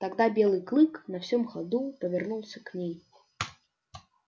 тогда белый клык на всём ходу повернулся к ней